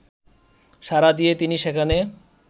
সাড়া দিয়ে তিনি সেখানে